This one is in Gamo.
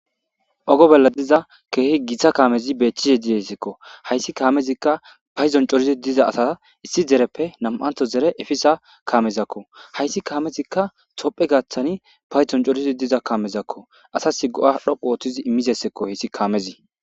Oge bolla diza keeh Gita kamez betishe dizayasako. Hays Kamezika paydon corid diza asata issi dereppe nam'antho dere efiza Kameziko. Hays Kamezika be gathan paydon corid diza Kamezako. Asa go'a dhoqu otid imizaysako gays kamez.